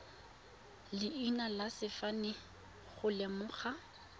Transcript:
leina le sefane go lemoga